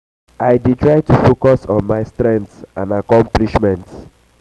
i dey try to focus on my strengths and um accomplishments.